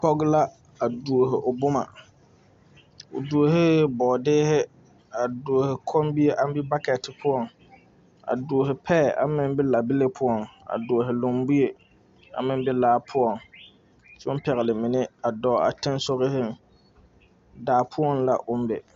Pɔge la a tuo o boma, o tue bɔɔdeɛ, a tuo kommie aŋ be 'bucket' poɔ, a tuo paɛ aŋ meŋ be labile poɔŋ, a tuo lumbie naŋ be laa poɔŋ, kyɛ pɛle mine, a dɔɔ a teŋɛ sɔŋɔ daa poɔ la ka o be.